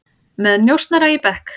Með njósnara í bekk